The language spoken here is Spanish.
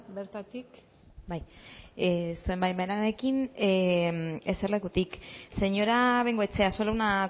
bertatik bai zure baimenarekin eserlekutik señora bengoechea solo una